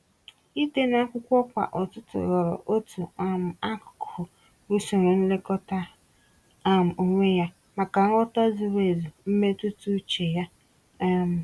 Ịde n'akwụkwọ kwa ụtụtụ ghọrọ otu um akụkụ usoro nlekọta um onwe ya, maka nghọta zuru ezu mmetụta uche ya. um